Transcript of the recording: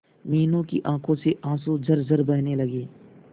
मीनू की आंखों से आंसू झरझर बहने लगे